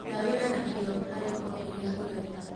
Ruta wĩra na kĩo harĩ o kĩrĩ ũreka.